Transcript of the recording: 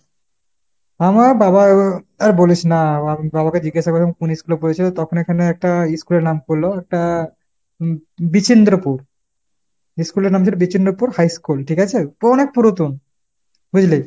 আমার বাবার আর বলিস না। আমার বাবাকে জিজ্ঞাসা করেছিলাম কোন ইস্কুলে পড়েছিল, তখন এখানে একটা ইস্কুলের নাম বললো। একটা উম বিচিন্দ্রপুর। ইস্কুলের নাম ছিল বিচিন্দ্রপুর high school ঠিক আছে ? ও অনেক পুরাতন। বুঝলি ?